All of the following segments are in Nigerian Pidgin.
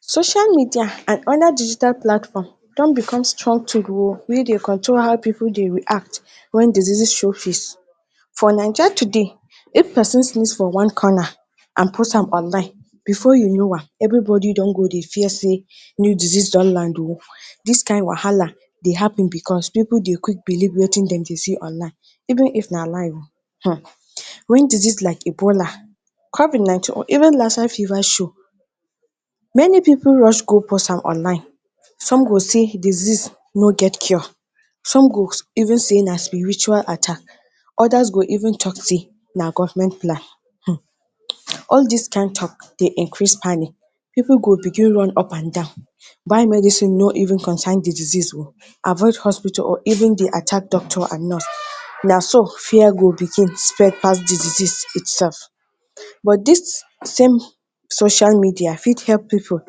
social media and other digital platform don become strong tool o wey dey control how pipo dey react wen deseases show face for naija today if pesin sneeze for one karna and put am oline bfor you know am everibodi don go dey fear say new desease don land o dis kain wahala dey hapun becos pipo dey quick believe wetin dem dey see onlin even if na lie um wen disiase like ibola covin nineteen or even laser fever show meni pipo rush go post am online, some go say disease no get cure, som go even say na spiritual attack, odas go even tok say na government plan um all dis kain tok dey increase spanin pipo go begin run up and down, buy medicine no even concern di disease o avoid hospitol or even di attack doctor and nurse na so fear go begin spread pass di disease it sef, but dis same social media fit help pipo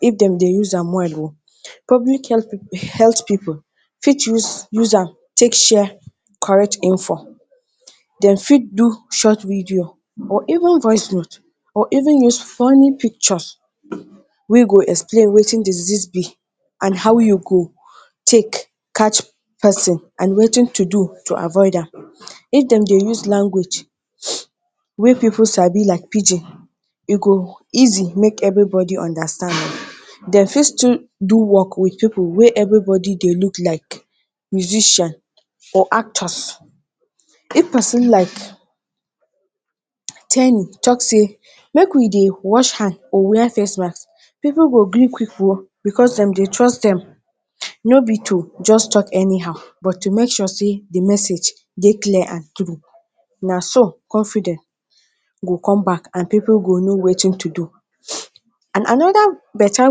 if dem dey use am well o. public healt pip health pipo fit re use am take share correct info, dem fit do short video or even voice note or even use funny picture wey go explain watin disease be and how you go take catch pesin and watin to do to avoid am, if den dey use language wey pipo sabi like pigin e go easi make evri bodi understand, dem fit still do work with pipo wey evri bodi dey look like wit vision or actors. if pesin like ten i tok say make we dey wash hand or wear face mask pipo go gree quick o bcos dem dey trust dem no be to just talk anyhow but tu make sure say the message dey clear and tru, na so confiden go com back and pipo go know watin tu do. and anoda better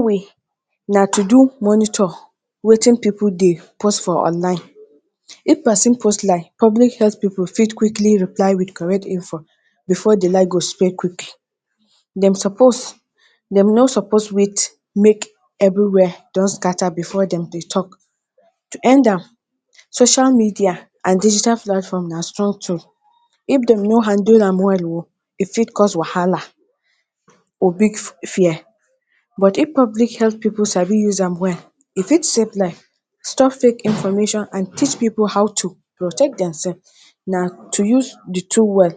way na tu do monitor watin pipo dey pos for online if pesin post like public health pipo fit quickly reply wit correct info bfor d lie go spread quick, dem suppose dem no suppose wait make evri were don scatter bfor den dey talk tu end am social media and digital flatform na strong tool ifp dem no hanndle am well o e fit cause wahala or big fi fear but if public health pipo sabi use am well e fit savep life, stop fake information and teach pipo ho to protect dem sef na tu use di tool well